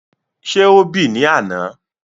Ṣé ó bì ní àna?